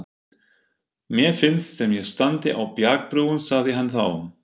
Mér finnst sem ég standi á bjargbrún, sagði hann þá.